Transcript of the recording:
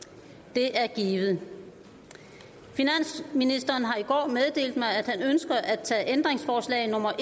det er givet finansministeren har i går meddelt mig at han ønsker at tage ændringsforslag nummer